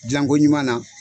Dilanko ɲuman na